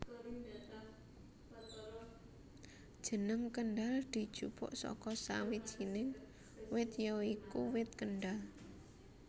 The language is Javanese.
Jeneng Kendhal dijupuk saka sawijinig wit ya iku Wit Kendhal